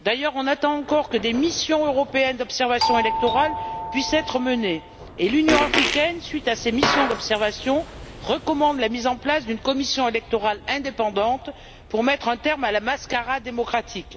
D'ailleurs, on attend toujours que des missions européennes d'observation électorale puissent être menées. L'Union africaine, à la suite de ces missions d'observation, recommande la mise en place d'une commission électorale indépendante pour mettre un terme à la mascarade démocratique.